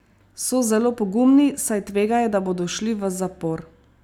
So zelo pogumni, saj tvegajo, da bodo šli v zapor.